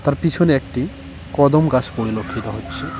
আর পিছনে একটি কদম গাছ পরিলক্ষিত হচ্ছে।